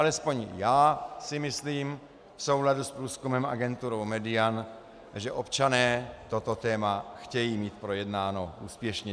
Alespoň já si myslím v souladu s průzkumem agentury Median, že občané toto téma chtějí mít projednáno úspěšně.